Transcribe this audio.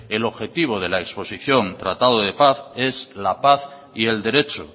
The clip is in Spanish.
el objetivo de la exposición tratado de paz es la paz y el derecho